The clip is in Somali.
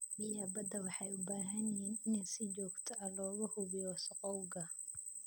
Biyaha badda waxay u baahan yihiin in si joogto ah looga hubiyo wasakhowga.